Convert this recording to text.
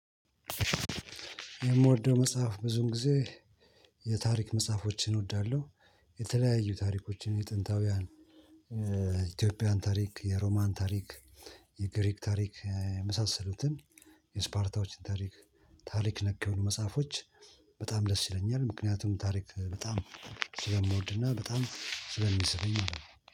የምወደው መጽሐፍ ብዙን ጊዜ የታሪክ መጽሐፎችን እወዳለሁ የተለያዩ ታሪኮችን የጥንታውያን የኢትዮጵያን ታሪክ፣ የሮማን ታሪክ፣ የግሪክ ታሪክ መሳሰሉትን የስፓርታዎችን ታሪክ ታሪክ ነክ የሆኑ መጽፎች በጣም ደስ ይለኛል ምክንያቱም ታሪክ በጣም ስለምወድ እና በጣም ስለሚሰለኝ ማለት ነው።